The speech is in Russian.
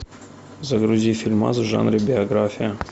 загрузи фильмас в жанре биография